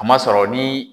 A ma sɔrɔ ni